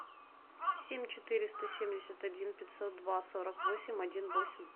семь четыреста семьдесят один пятьсот два сорок восемь один восемь